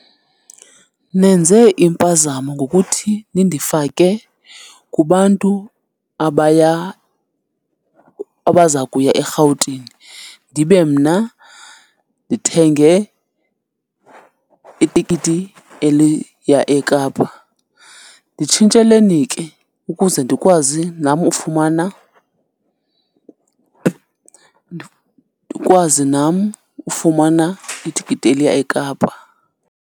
Nenze impazamo ngokuthi nindifake kubantu abaya , abaza kuya eRhawutini ndibe mna ndithenge itikiti eliya eKapa. Nditshintsheleni ke, ukuze ndikwazi nam ufumana, ndikwazi nam ufumana itikiti eliya eKapa.